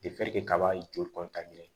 kaba joli